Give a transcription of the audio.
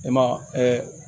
E ma